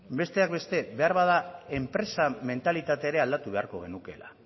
besteak beste beharbada enpresa mentalitatea ere aldatu beharko genukeela